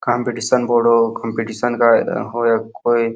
competition बोलो competition का --